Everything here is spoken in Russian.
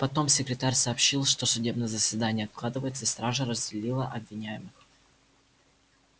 потом секретарь сообщил что судебное заседание откладывается и стража разделила обвиняемых